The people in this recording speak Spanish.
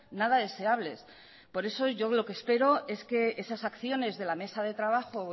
nada deseables por eso yo lo que espero es que esas acciones de la mesa de trabajo